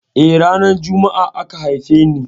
Eh, ranar Jumma'a aka haife ni.